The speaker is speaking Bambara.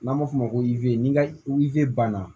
N'an ma f'o ma ko n'i ka banna